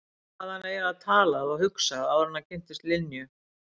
Um hvað hafði hann eiginlega talað og hugsað áður en hann kynntist Linju?